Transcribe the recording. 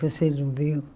Vocês não viram?